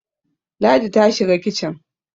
Ladi ta shiga kicin.